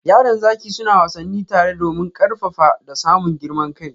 Yaran zaki suna wassani tare domin karfafa da samun girman kai.